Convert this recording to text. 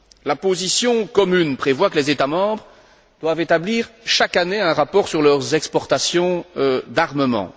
La position commune prévoit que les États membres doivent établir chaque année un rapport sur leurs exportations d'armement.